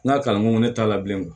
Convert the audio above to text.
N ka kalanko ne t'a la bilen o